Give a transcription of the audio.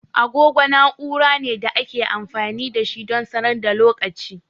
Agogo na'ura ne da ake amfani da shi don sanar da lokaci.